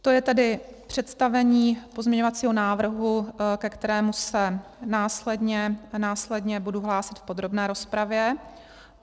To je tedy představení pozměňovacího návrhu, ke kterému se následně budu hlásit v podrobné rozpravě.